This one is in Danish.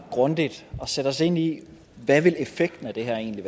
grundigt og sætte os ind i hvad effekten af det her egentlig